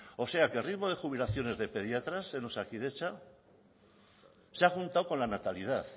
o sea que el ritmo de jubilaciones de pediatras en osakidetza se ha juntado con la natalidad